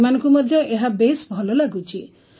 ସେମାନଙ୍କୁ ମଧ୍ୟ ଏହା ବେଶ୍ ଭଲ ଲାଗୁଛି